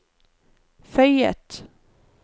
føyet